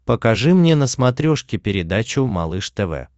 покажи мне на смотрешке передачу малыш тв